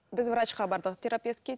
біз врачқа бардық терапевтке